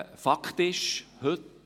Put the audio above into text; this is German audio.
Fakt ist heute: